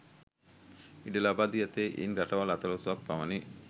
ඉඩ ලබා දී ඇත්තේ ඉන් රටවල් අතලොස්සක් පමණි